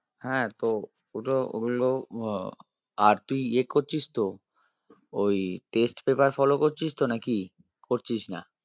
হ্যাঁ তো ওটার ওগুলোর আহ আর তুই নিয়ে করছিস তো? ওই test paper follow করছিস তো নাকি? করছিস না?